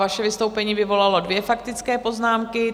Vaše vystoupení vyvolalo dvě faktické poznámky.